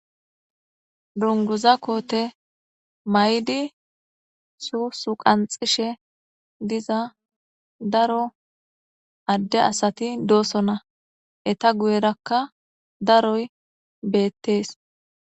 Dunguza koote may'di suusu qanxishe diza daro adde asati doosona eta guyerakka daroy beettees.